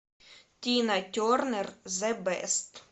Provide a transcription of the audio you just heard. тина тернер зе бест